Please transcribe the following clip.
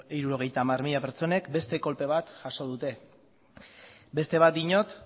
hirurogeita hamar mila pertsonek beste kolpe bat jaso dute beste bat diot